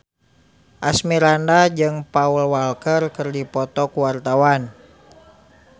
Asmirandah jeung Paul Walker keur dipoto ku wartawan